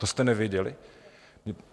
To jste nevěděli?